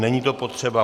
Není to potřeba.